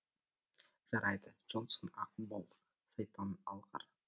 жарайды джонсон ақ бол сайтан алғыр